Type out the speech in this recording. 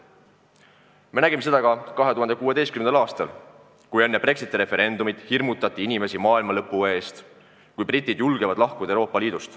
Me nägime seda ka 2016. aastal, kui enne Brexiti referendumit hirmutati inimesi maailmalõpuga, kui britid julgevad lahkuda Euroopa Liidust.